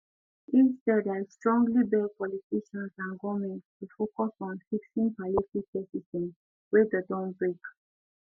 instead i strongly beg politicians and goment to focus on fixing palliative care system wey don don break